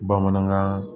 Bamanankan